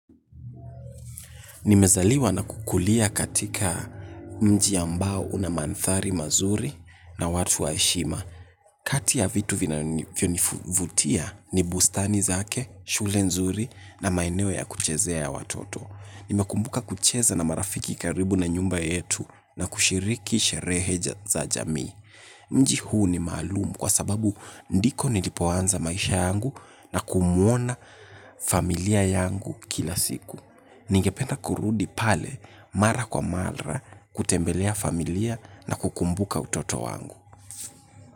Nimezaliwa na kukulia katika mji ambao una mandhari mazuri na watu wa heshima. Kati ya vitu vinavyonivutia, ni bustani zake, shule nzuri na maeneo ya kuchezea ya watoto. Nimekumbuka kucheza na marafiki karibu na nyumba yetu na kushiriki sherehe za jamii. Mji huu ni maalumu kwa sababu ndiko nilipoanza maisha yangu na kumuona familia yangu kila siku. Ningependa kurudi pale mara kwa mara kutembelea familia na kukumbuka utoto wangu.